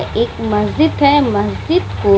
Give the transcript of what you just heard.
एक मस्जिद है मस्जिद में --